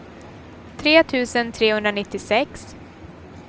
tre tusen trehundranittiosex